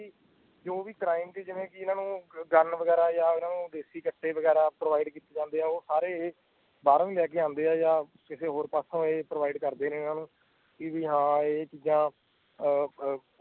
ਜੋ ਵੀ ਕ੍ਰਾਈਮ ਜਿਵੇਂ ਕਿ ਇਨ੍ਹਾਂ ਨੂੰ ਗਨ ਵਗੈਰਾ ਯਾ ਦੇਸ਼ੀ ਕੱਟੇ ਵਗੈਰਾ ਪ੍ਰੋਵੀਐਡ ਕੀਤੇ ਜਾਂਦੇ ਆ ਉਹ ਸਾਰੇ ਏ ਬਰੋ ਲੈਕੇ ਆਂਦੇ ਯਾ ਕਿਸੇ ਹੋਰ ਪਾਸੋ ਪ੍ਰੋਵੀਐਡ ਕਰਦੇ ਇਨ੍ਹਾਂ ਨੂੰ ਕਿ ਵੀ ਹਾਂ ਇ ਚੀਜਾਂ